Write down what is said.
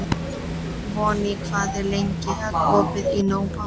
Voney, hvað er lengi opið í Nova?